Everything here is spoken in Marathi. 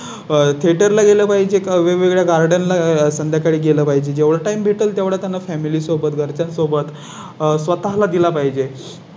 थेटर ला गेला पाहिजे वेगवेगळ्या Garden ला संध्याकाळी गेलं पाहिजे जेव्हा Time भेटेल तेव्हा त्यांना Family सोबत घरच्यां सोबत स्वतः ला दिला पाहिजे.